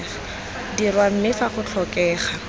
dirwa mme fa go tlhokega